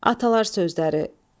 Atalar sözləri: